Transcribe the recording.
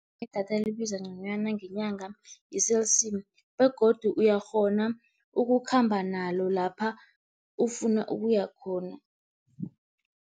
Idatha elibiza nconywana ngenyanga yi-Cell C begodu uyakghona ukukhamba nalo lapha ufuna ukuya khona.